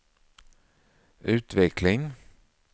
utveckling